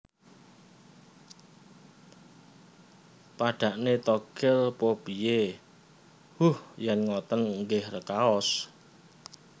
Padhakne Togel pa piye Huh Yen ngoten nggih rekaos